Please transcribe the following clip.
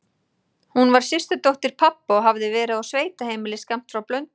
Hún var systurdóttir pabba og hafði verið á sveitaheimili skammt frá Blönduósi.